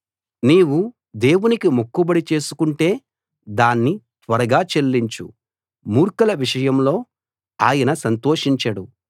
నీవు దేవునికి మొక్కుబడి చేసుకుంటే దాన్ని త్వరగా చెల్లించు మూర్ఖుల విషయంలో ఆయన సంతోషించడు